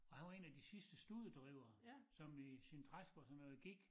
Og han var en af de sidste studedrivere som i sine træsko og sådan noget gik